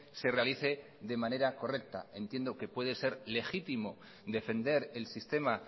se realice de manera correcta entiendo que puede ser legítimo defender el sistema